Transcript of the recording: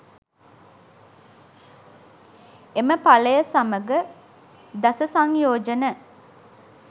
එම ඵලය සමඟ දස සංයෝජන